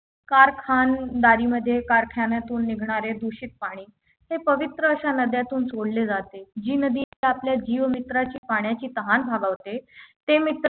कारखानदारी मध्ये कारखान्यातून निघणारे दूषित पाणी हे पवित्र अशा नद्यांतून सोडले जाते जी नदीत आपल्या जीव मित्राची पाण्याची तहान भागवते ते मित्र